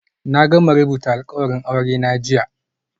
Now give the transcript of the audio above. Na gama rubuta alkawarin aurena jiya